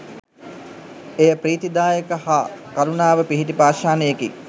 එය පී්‍රතිදායක හා කරුණාව පිහිටි පාෂාණයකි.